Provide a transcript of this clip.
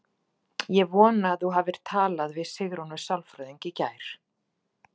Ég vona að þú hafir talað við Sigrúnu sálfræðing í gær.